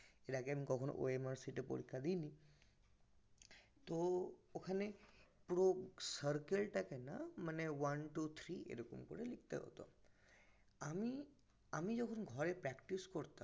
এর আগে আমি কনদিন OMR sheet এ পরীক্ষা দিই নি তহ ওখানে পুরো circle তা কে না one two three এভাবে লিখতে হতো আমি আমি যখন ঘর এ practice করতাম